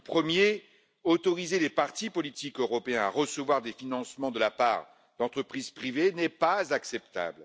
Le premier, autoriser les partis politiques européens à recevoir des financements de la part d'entreprises privées n'est pas acceptable.